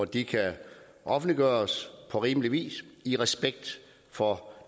de kan offentliggøres på rimelig vis i respekt for